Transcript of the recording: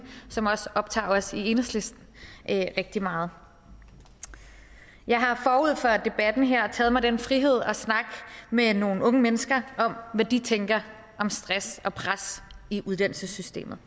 som også optager os i enhedslisten rigtig meget jeg har forud for debatten her taget mig den frihed at snakke med nogle unge mennesker om hvad de tænker om stress og pres i uddannelsessystemet